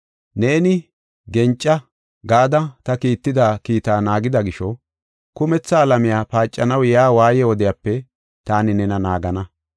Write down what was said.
Neeni, ‘Genca’ gada ta kiitida kiitaa naagida gisho, kumetha alamiya paacanaw yaa waaye wodiyape taani nena naagana.